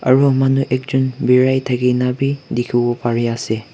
aro manu ekjon berai thakena bi dikhiwo pare ase.